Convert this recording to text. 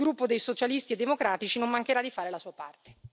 Il gruppo dei Socialisti e Democratici non mancherà di fare la sua parte.